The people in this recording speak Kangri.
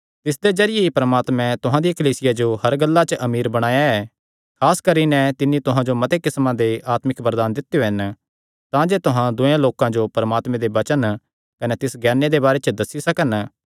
तिसदे जरिये ई परमात्मे तुहां दिया कलीसिया जो हर गल्लां च अमीर बणाया ऐ खास करी नैं तिन्नी तुहां जो मते किस्मा दे आत्मिक वरदान दित्यो हन तांजे तुहां दूयेयां लोकां जो परमात्मे दे वचन कने तिस ज्ञाने दे बारे च दस्सी सकन